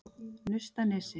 Naustanesi